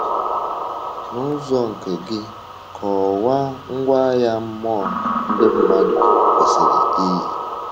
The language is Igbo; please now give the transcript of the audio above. N’ụzọ nke gị, kọwaa ngwa agha mmụọ ndị mmadụ kwesịrị yi.